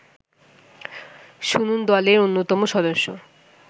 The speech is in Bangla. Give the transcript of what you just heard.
শুনুন দলের অন্যতম সদস্য